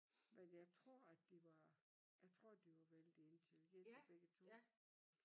Men jeg tror at de var jeg tror at de var vældig intelligente begge 2